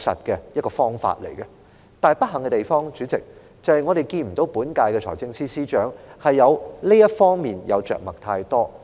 但代理主席，不幸的地方，是我們並未看到本屆財政司司長在這方面着墨太多。